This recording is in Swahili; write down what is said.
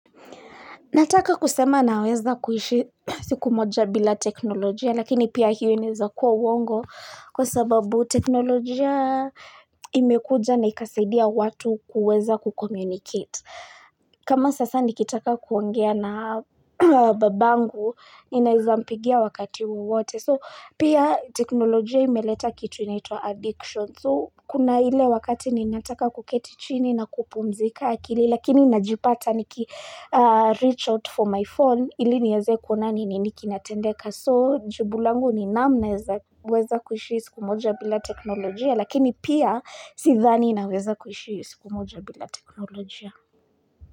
Nataka kusema naweza kuishi siku moja bila teknolojia, lakini pia hiyo inaeza kuwa uongo kwa sababu teknolojia imekuja na ikasidia watu kuweza ku communicate. Kama sasa nikitaka kuongea na babangu, ninaezampigia wakati wowote. So, pia teknolojia imeleta kitu inaitwa addiction. So kuna ile wakati ninataka kuketi chini na kupumzika akili lakini najipata niki reach out for my phone ili nieze kuona ni nini kinatendeka so jibu langu ni naam naeza weza kuishi siku moja bila teknolojia lakini pia sidhani na weza kuishi siku moja bila teknolojia.